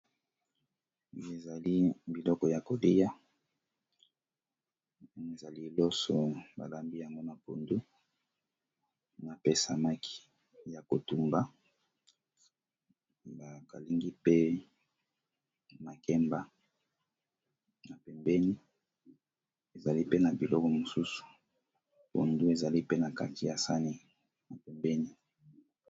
Oyo ezali biloko yakolya ezali loso balambi yango na pondu, samaki ya kotumba, makemba ba kalingi na biloko mosusu.